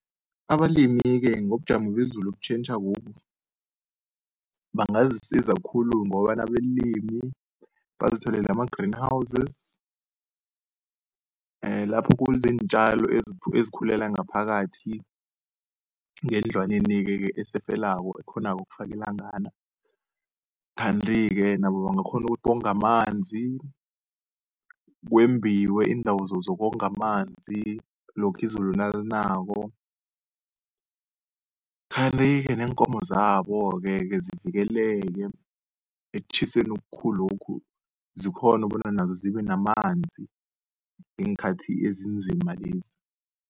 Abalimi-ke ngobujamo bezulu obutjhentjhakobu bangazisiza khulu ngokobana abalimi bazitholele ama-green houses, lapho okuziintjalo ezikhulela ngaphakathi ngendlwanenike-ke eseselako ekghonako ukufaka ilangana. Kanti-ke nabo bangakghona ukuthi bonge amanzi, kwembiwe iindawo zokonga amanzi lokhuya izulu nalinako. Kanti-ke neenkomo zaboke-ke zivikeleke ekutjhiseni okukhulu lokhu, zikghone bona nazo zibe namanzi ngeenkhathi ezinzima lezi.